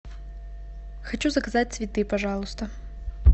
хочу заказать цветы пожалуйста